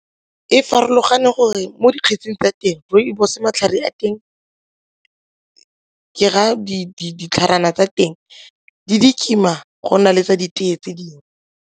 E farologane gore mo dikgetsing tsa teng rooibos matlhare a teng ke raya ditlhajana tsa teng di kima go na le tsa ditee tse dingwe.